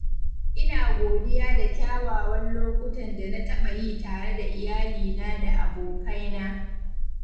Ina godiya da kyawawan lokutan da na taɓa yi tare da iyalina da abokaina.